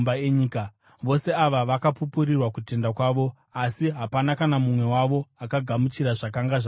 Vose ava vakapupurirwa kutenda kwavo, asi hapana kana mumwe wavo akagamuchira zvakanga zvavimbiswa.